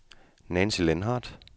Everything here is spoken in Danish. Nancy Lindhardt